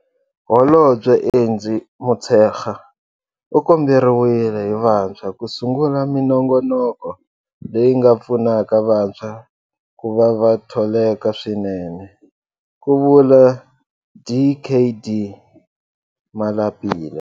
Holobye Angie Motshekga u komberiwile hi vantshwa ku sungula minongonoko leyi nga pfunaka vantshwa ku va va tholeka swinene, ku vula Dkd Malapile.